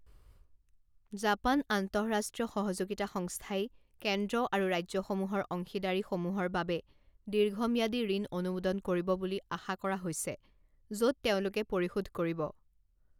Japan আন্তঃৰাষ্ট্ৰীয় সহযোগিতা সংস্থাই কেন্দ্ৰ আৰু ৰাজ্যসমূহৰ অংশীদাৰীসমূহৰ বাবে দীৰ্ঘম্যাদী ঋণ অনুমোদন কৰিব বুলি আশা কৰা হৈছে, য'ত তেওঁলোকে পৰিশোধ কৰিব।